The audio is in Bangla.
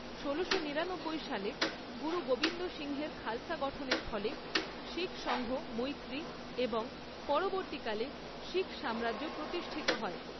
ষোলোশো নিরানব্বই সালে গুরু গোবিন্দ সিংহের খালসা গঠনের ফলে শিখ সঙ্ঘ মৈত্রী এবং পরবর্তীকালে শিখ সাম্রাজ্য প্রতিষ্ঠিত হয়।